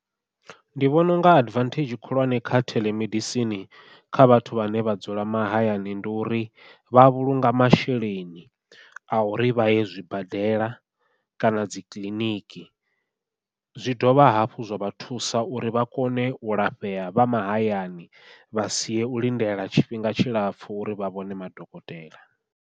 Ndi vhona unga advantage khulwane kha theḽemedisini kha vhathu vhane vha dzula mahayani ndi uri vha vhulunga masheleni, a uri vha ye zwibadela kana dzi kiḽiniki zwi dovha hafhu zwa vha thusa uri vha kone u lafhea vha mahayani vha sie u lindela tshifhinga tshilapfhu uri vha vhone madokotela.